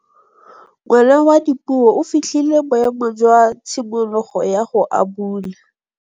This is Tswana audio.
Ngwana wa Dipuo o fitlhile boêmô jwa tshimologô ya go abula.